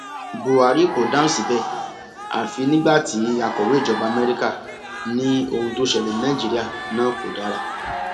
buhari kò dáhùn síbẹ àfi nígbà tí akọwé ìjọba amẹríkà ní ohun tó ṣẹlẹ ní nàìjíríà náà kò dára